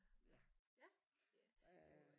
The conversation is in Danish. Ja øh